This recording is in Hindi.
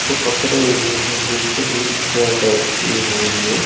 को पकड़े हुए हैं जैसे व्हील चेयर टाइप की हो ये --